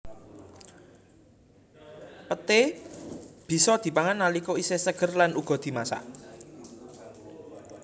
Peté bisa dipangan nalika isih seger lan uga dimasak